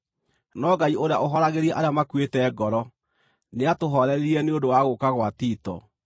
No Ngai ũrĩa ũhooragĩria arĩa makuĩte ngoro, nĩatũhooreririe nĩ ũndũ wa gũũka gwa Tito,